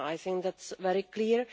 I think that is very clear.